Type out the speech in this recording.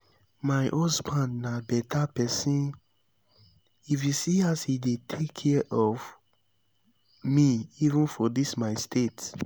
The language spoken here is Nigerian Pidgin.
my husband na beta person if you see as he dey take care of me even for dis my state